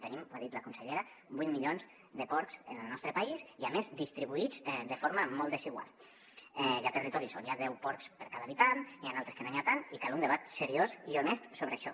tenim ho ha dit la consellera vuit milions de porcs en el nostre país i a més distribuïts de forma molt desigual hi ha territoris on hi ha deu porcs per cada habitant n’hi ha d’altres on no n’hi ha tants i cal un debat seriós i honest sobre això